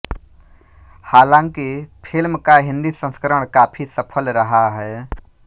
हालांकि फिल्म का हिंदी संस्करण काफी सफल रहा है